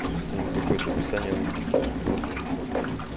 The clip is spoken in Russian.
то есть к ним какое то описание нужен то есть не просто же там